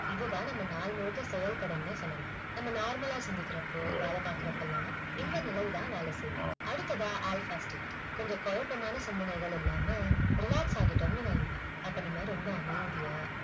இது தான் நம்ம நாள் முழுக்க செயல் படும்னே சொல்லலாம் நம்ம normal அ சிந்திக்கறப்போ வேல பாக்குறப்போலாம் இந்த நிலை தான் வேலை செய்யும் அடுத்ததா alpha state கொஞ்சம் கொழப்பமான சிந்தனைகள் இல்லாம relax ஆகிட்டோம்னு வைங்க அப்ப நம்ம ரொம்ப அமைதியா